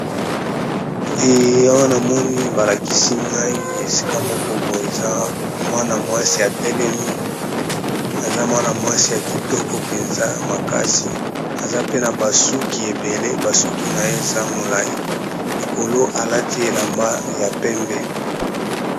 Awa na moni ba lakisi ngai esika moko boye eza mwana mwasi a telemi, aza mwana mwasi ya kitoko penza makasi, aza pe na ba suki ébélé, basuki na ye eza molyi likolo a lati elamba ya pembe .